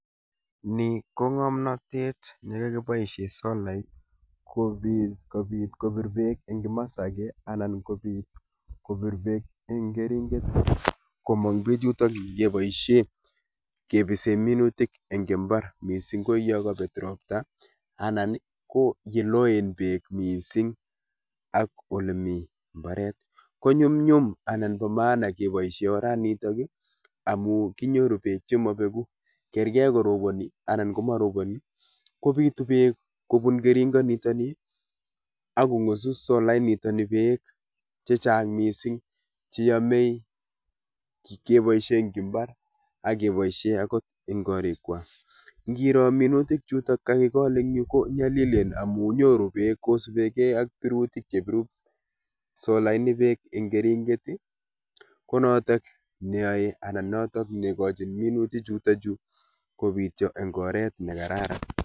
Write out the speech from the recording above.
Ni ko ng'omnotet ne kakiboisie solait, kobiit kobiit kopir beek eng' kimas age anan kobiit kopir beek eng' keringet komong bechutochu keboisie kepisee minutik eng' mbar. Missing ko yakabet ropta, anan ko yeloen beek missing ak ole mii mbaret. Ko nyumnyum anan bo maana keboisie oranitok, amuu kinyoru beek che mabegu. Kerkeri koroboni, anan ko maroboni, kobitu beek kobun keringot nitoni, akongusu solait nitoni beek chechang' missing, che yamei keboisie ang' mbar, akeboisie angot eng' korik kwak. Ngiro minutik chutok kakigol en yuu ko nyalilen amuu nyoru beek kosubekei ak birutik chepiru solait ni beek eng' keringet, ko notok neayae, anan notok ne kochin minutik chutochu kobityo eng' oret ne kararan